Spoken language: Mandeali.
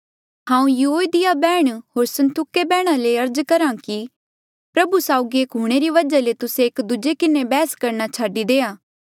हांऊँ युओदिया बैहण होर सुन्तुखे बैहण दुंहीं ले अर्ज करहा कि प्रभु साउगी एक हूंणे री वजहा ले तुस्से एक दूजे किन्हें बैहस करणा छाडी देआ